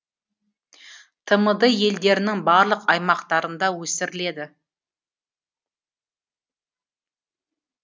тмд елдерінің барлық аймақтарында өсіріледі